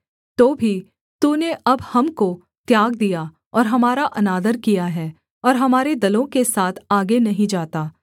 तो भी तूने अब हमको त्याग दिया और हमारा अनादर किया है और हमारे दलों के साथ आगे नहीं जाता